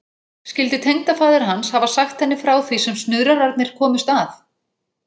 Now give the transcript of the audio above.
Skyldi tengdafaðir hans hafa sagt henni frá því sem snuðrararnir komust að?